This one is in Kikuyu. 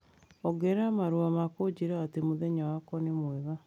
ongerera marũa ma kũnjĩra atĩ mũthenya wakwa nĩ mwega